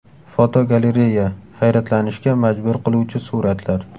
Fotogalereya: Hayratlanishga majbur qiluvchi suratlar.